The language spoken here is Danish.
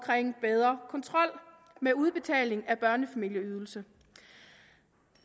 bedre kontrol med udbetaling af børnefamilieydelse